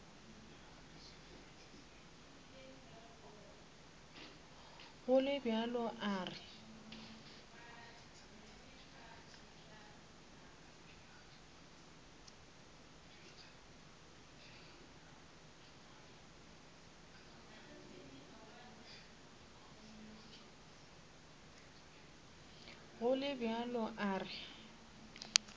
go le bjalo a re